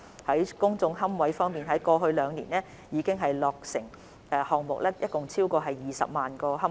在公眾龕位方面，過去兩年落成的項目共提供超過20萬個龕位。